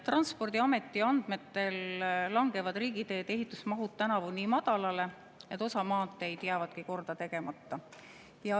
Transpordiameti andmetel langevad riigiteede ehitamise mahud tänavu nii madalale, et osa maanteid jääbki korda tegemata.